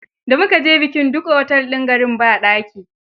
Da mu ka je bikin, duk otel din garin ba daki.